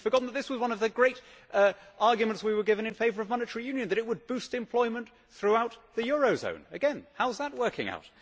We have forgotten that this was one of the great arguments we were given in favour of monetary union that it would boost employment throughout the eurozone. Again, how's that working out?